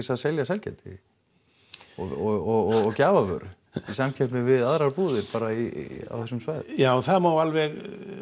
að selja sælgæti og gjafavöru í samkeppni við aðrar búðir bara í á þessum svæðum já það má alveg